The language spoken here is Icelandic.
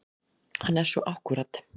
Hann er svo akkúrat.